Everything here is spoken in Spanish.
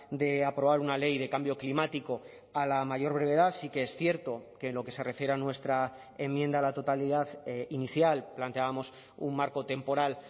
de aprobar una ley de cambio climático a la mayor brevedad sí que es cierto que en lo que se refiere a nuestra enmienda a la totalidad inicial planteábamos un marco temporal